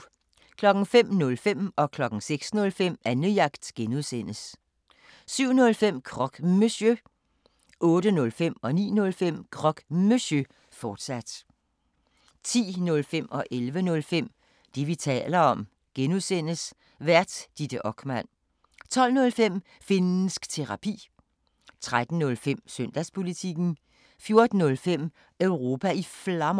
05:05: Annejagt (G) 06:05: Annejagt (G) 07:05: Croque Monsieur 08:05: Croque Monsieur, fortsat 09:05: Croque Monsieur, fortsat 10:05: Det, vi taler om (G) Vært: Ditte Okman 11:05: Det, vi taler om (G) Vært: Ditte Okman 12:05: Finnsk Terapi 13:05: Søndagspolitikken 14:05: Europa i Flammer